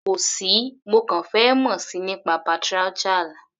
Kò sí, mo kàn fẹ́ mọ̀ síi nípa patriarchal.